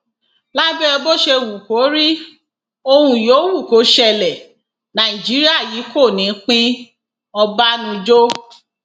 lábẹ bó ṣe wù kó rí ohun yòówù kó ṣẹlẹ nàìjíríà yìí kò ní í pínọbànújò